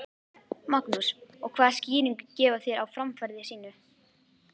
Magnús: Og hvaða skýringu gefa þeir á framferði sínu?